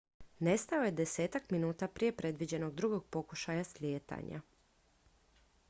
nestao je desetak minuta prije predviđenog drugog pokušaja slijetanja